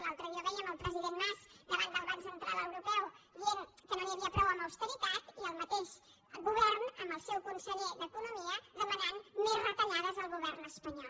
l’altre dia ho vèiem el president mas davant del banc central europeu que deia que no n’hi havia prou amb austeritat i el mateix govern amb el seu conseller d’economia que demanava més retallades al govern espanyol